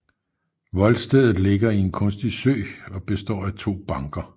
Voldstedet ligger i en kunstig sø og består af to banker